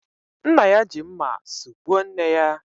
Nna ya ji mma sugbuo nne ya